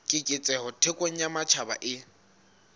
keketseho thekong ya matjhaba e